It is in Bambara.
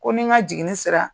Ko ni n ka jiginni sera